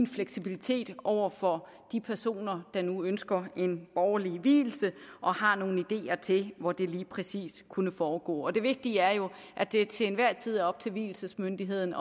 fleksibilitet over for de personer der nu ønsker en borgerlig vielse og har nogle ideer til hvor det lige præcis kunne foregå og det vigtige er jo at det til enhver tid er op til vielsesmyndigheden